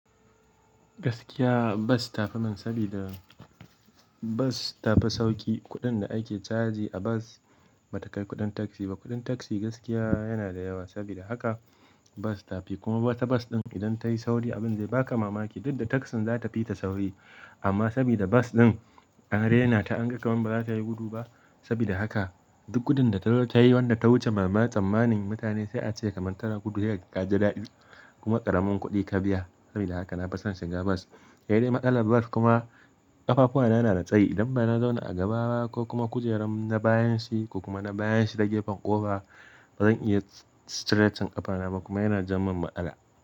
Gaskiya, bas tafi man sabida, bas tafi sauki. Kuɗin da ake caji a bas, ba ta kai kuɗin taksi ba. Kuɗin taksi gaskiya yana da yawa, sabida haka. Bas tafi. Kuma wata bas ɗin, idan ta yi sauri abin zai baka mamaki, duk da taksin za ta fi ta sauri. Amma sabida bas ɗin, an rena ta an ga kaman ba za ta yi gudu ba. Sabida haka, duk gudun da ta zo tayi wanda ta wuce mama tsammanin mutane sai a ce kamar tana gudu yayah gaje daɗi. Kuma ƙaramin kuɗi ka biya sabida haka na fason shiga bas. Kai dai matsalar bas kuma, ƙafafu na, na da tsayi. Idan ba na zauna a gaba ba, ko kuma kujeran na bayan shi ko kuma na bayan shi ta gefen ƙofa, bazan iya straiting ƙafana ba kuma yana jan mun matsala.